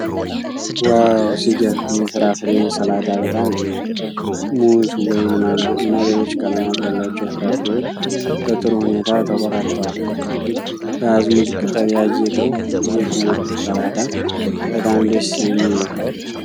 ዋው፣ ሲገርም! ይህ ፍራፍሬ ሰላጣ በጣም ያምራል። ሙዝ፣ ወይን፣ ማንጎ እና ሌሎች ቀለማት ያሏቸው ፍራፍሬዎች በጥሩ ሁኔታ ተቆራርጠዋል። በአዝሙድ ቅጠል ያጌጠው ይህ ውብ ሰላጣ በጣም ደስ የሚል ነው።